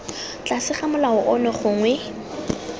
tlase ga molao ono gongwe